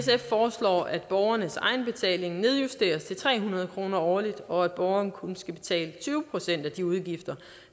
sf foreslår at borgernes egenbetaling nedjusteres til tre hundrede kroner årligt og at borgerne kun skal betale tyve procent af de udgifter